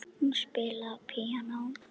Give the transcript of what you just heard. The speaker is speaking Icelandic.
Hún spilaði á píanó.